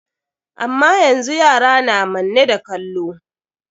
Amma yanzu yara na manne da kallo.